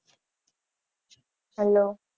hello